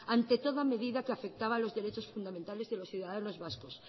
ante toda medida que afectaba a los derechos fundamentales de los ciudadanos vascos